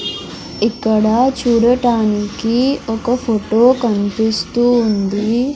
ఇక్కడ చూడటానికి ఒక ఫోటో కనిపిస్తూ ఉంది.